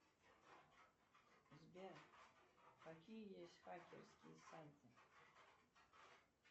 сбер какие есть хакерские сайты